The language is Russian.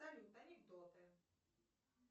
салют анекдоты